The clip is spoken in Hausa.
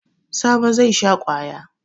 Sabo zai sha kwaya.